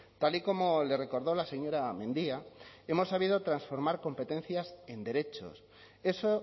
tal y como le he recordó la señora mendia hemos sabido transformar competencias en derechos eso